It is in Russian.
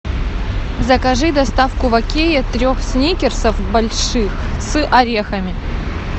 закажи доставку в окее трех сникерсов больших с орехами